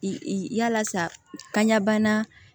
I yala sa ka ɲɛbana